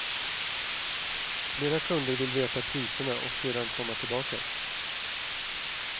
Flera kunder vill veta priserna och sedan komma tillbaka.